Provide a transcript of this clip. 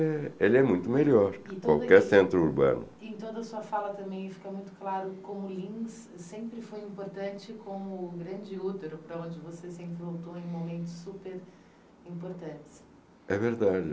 eh, é muito melhor. Em toda a sua fala também fica muito claro como o Lins sempre foi importante, como o Grande Útero, para onde você sempre voltou em momentos super importantes. É verdade